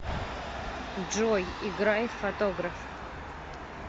джой играй фотограф